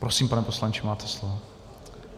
Prosím, pane poslanče, máte slovo.